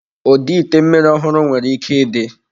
Ụdị ite mmiri ọhụrụ nwere ike ịdị.